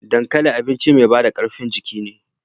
Dankali abinci mai bada karfin jiki ne.